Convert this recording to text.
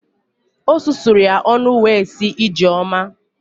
O susuru ya ọnụ wee sị “Ijeoma”.